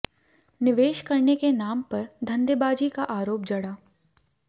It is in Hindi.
निवेश करने के नाम पर धंधेबाजी का आरोप जड़ा